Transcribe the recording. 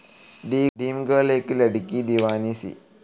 dream girl ഏക് ലഡ്കി ദീവാനി സി